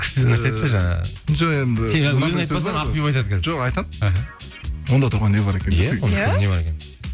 күшті нәрсе айтты жаңа жоқ енді ақбибі айтады қазір жоқ айтамын іхі онда тұрған не бар екен иә не бар екен